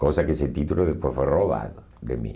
Coisa que esse título depois foi roubado de mim.